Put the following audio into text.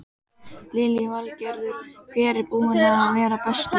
Lillý Valgerður: Hver er búinn að vera bestur?